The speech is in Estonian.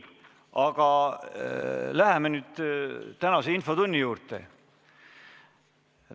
Aga läheme nüüd infotunni juurde.